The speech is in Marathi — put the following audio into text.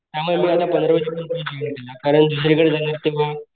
त्यामुळेकारण दुसरीकडे जायला तेव्हा,